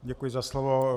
Děkuji za slovo.